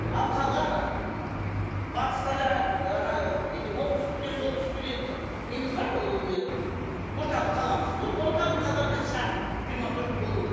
ал қалған батыста да неде оңтүстікте солтүстікте де неміз бар ғой орталық қаламыз сол орталық қалаларда шағын крематорий болу керек